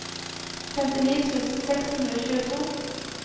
femtini tusen seks hundre og tjueto